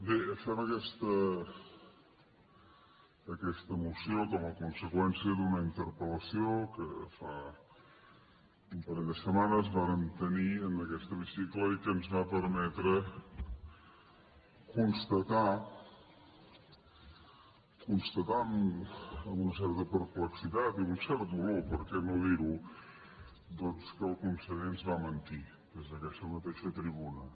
bé fem aquesta moció com a conseqüència d’una in terpel·lació que fa un parell de setmanes vàrem tenir en aquest hemicicle i que ens va permetre constatar cons ta tar amb una certa perplexitat i amb cert dolor perquè no dir ho doncs que el conseller ens va mentir des d’aquesta mateixa tribuna